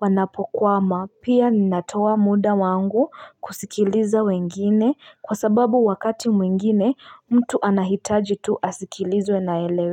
wanapokwama pia ninatoa muda wangu kusikiliza wengine kwa sababu wakati mwingine mtu anahitaji tu asikilizwe na eleweke.